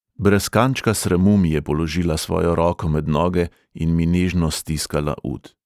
Brez kančka sramu mi je položila svojo roko med noge in mi nežno stiskala ud.